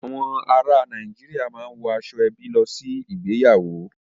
Àwọn ará Nàìjíríà máa ń wọ aṣọ-ẹbí lọ sí ìgbéyàwó.